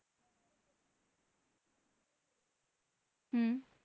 হম